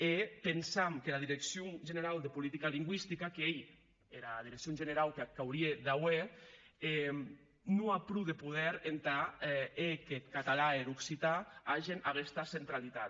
e pensam qu’era direccion generau de politica lingüistica qu’ei era direccion generau qu’ac aurie de hèr non a pro de poder entà hèr qu’eth catalan e er occitan agen aguesta centralitat